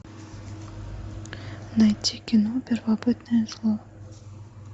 найти кино первобытное зло